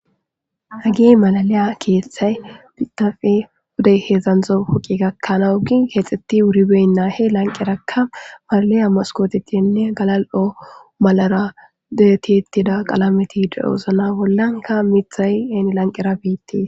Hagi malaliya keeththay pitafe hudey heedzdzandzo puqi gakkanaa ugin keexxeti wuribeynnaa he lanqerakka malaliya moskotetinne galal'o malara detiettida qalameti deosna bollanka mithay eni lanqera biittii.